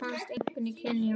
Þeir finnast einkum í Kenía.